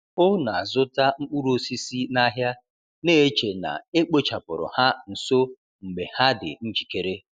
O na-azụta mkpụrụ osisi n’ahịa, na-eche na e kpochapụrụ ha nso mgbe ha dị njikere.